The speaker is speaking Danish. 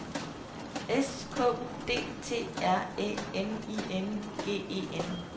S K U D T R Æ N I N G E N